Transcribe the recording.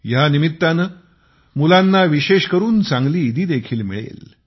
ह्यानिमित्ताने मुलांना विशेष करून चांगली ईदीदेखील मिळेल